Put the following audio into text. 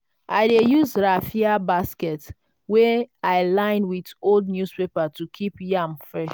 i dey use raffia basket wey i line with old newspaper to keep yam fresh.